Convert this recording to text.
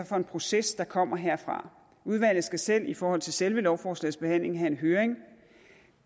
for en proces der kommer herfra udvalget skal selv i forhold til selve lovforslagets behandling have en høring